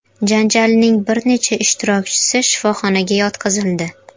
Janjalning bir necha ishtirokchisi shifoxonaga yotqizildi.